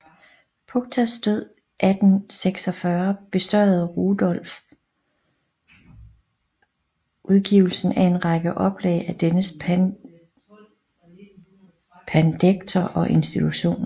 Puchtas død 1846 besørgede Rudorff udgivelsen af en række oplag af dennes pandekter og institutioner